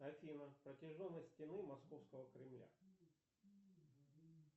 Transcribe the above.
афина протяженность стены московского кремля